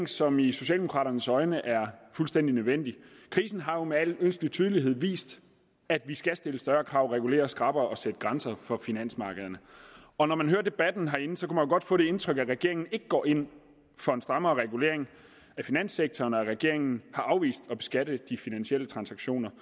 som i socialdemokraternes øjne er fuldstændig nødvendig krisen har jo med al ønskelig tydelighed vist at vi skal stille større krav regulere skrappere og sætte grænser for finansmarkederne og når man hører debatten herinde kunne man godt få det indtryk at regeringen ikke går ind for en strammere regulering af finanssektoren at regeringen har afvist at beskatte de finansielle transaktioner